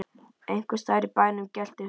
Einhvers staðar í bænum gelti hundur.